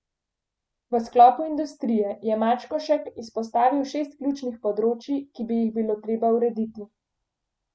V sklopu industrije je Mačkošek izpostavil šest ključnih področij, ki bi jih bilo treba urediti.